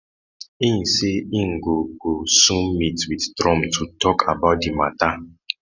e say e go go soon meet wit trump to tok about di mata